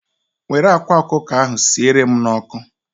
Were akwa ọkụkọ ahụ sierem n'ọkụ